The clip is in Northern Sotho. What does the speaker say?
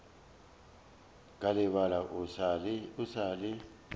ka lebala o sa le